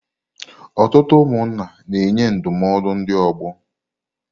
Ọtụtụ ụmụnna na-enye ndụmọdụ ndị ọgbọ.